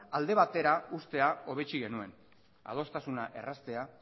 alde batera uztea hobetsi genuen adostasuna erraztea